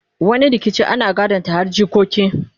wani rikicin ana gadon ta har jikoki